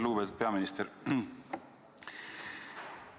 Lugupeetud peaminister!